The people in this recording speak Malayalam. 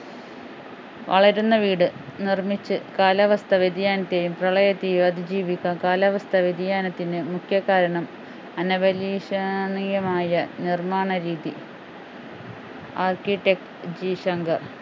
വളരുന്ന വീട് നിർമിച്ചു കാലാവസ്ഥ വ്യതിയാനത്തെയും പ്രളയത്തെയും അതിജീവിക്കാം കാലാവസ്ഥ വ്യതിയാനത്തിന് മുഖ്യകാരണം അനഭലഷണീയമായ നിർമാണ രീതി architect ജി ശങ്കർ